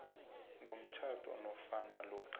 komtjhado nofana lokha